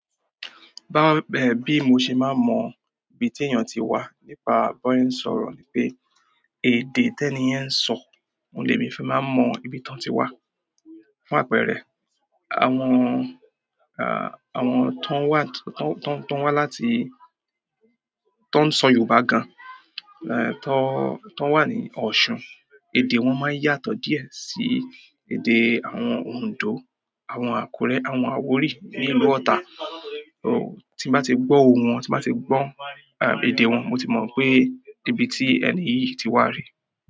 Bi mó ṣe máa ń mọ ibí tí èèyàn tiwa nípa bí wọn ṣe sọ̀rọ̀ ni pé èdè tí ẹniyẹn ń sọ ohùn ní èmi fi maatń mọ ibi tán ti wá. Fún àpẹẹrẹ, àwọn, àwọn tó ń wá, tó ń wá láti, tó ń sọ Yorùbá gan, tó, tó wà ní Ọ̀ṣun, èdè wọn máa ń yàtọ̀ díẹ̀ sí èdè àwọn Oǹdó, àwọn Àkúrẹ́, àwọn Àwòrí ní ìlú Ọ̀tà. Tí bá ti gbọ́ ohùn wọn, tí bá ti gbọ́ èdè wọn, mo ti mọ̀ pé ibi tí ẹni yìí ti wá re.